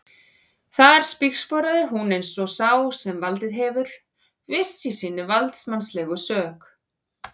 Þar spígsporaði hún um eins og sá sem valdið hefur, viss í sinni valdsmannslegu sök.